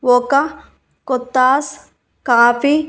ఒక కొత్తాస్ కాఫీ --